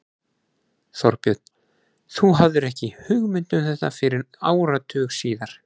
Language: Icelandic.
Þorbjörn: Þú hafðir ekki hugmynd um þetta fyrr en áratug síðar?